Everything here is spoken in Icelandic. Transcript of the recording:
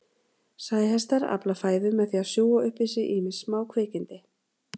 Sæhestar afla fæðu með því að sjúga upp í sig ýmis smákvikindi.